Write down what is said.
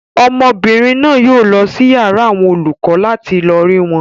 Ọmọbìnrin náà yóò lọ sí yàrá àwọn olùkọ láti lọ rí wọn.